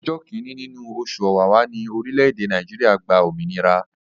Ọjọ́ kíni nínú oṣù Ọ̀wàrà ni orile-ede Naijiria gba òmìnira.